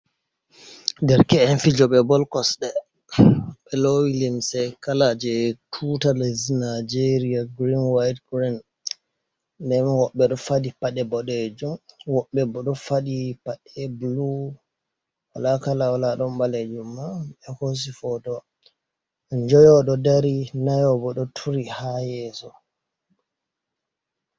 Derke`n fijooɓe bol kosɗe e limse kala jey tuutar lesdi Nageeriya green white green, wobɓe ɗo faɗi paɗe boɗeejum wobɓe boo ɗo faɗi paɗe walaakala wola, ɗon ɓaaleejum, ɗon kala bulu, ɓe hoosi footo njoyo ɗon ndari njoyo boo ɗo turi haa yeeso.